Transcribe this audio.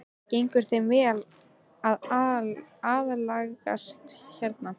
Gengur þeim vel að aðlagast hérna?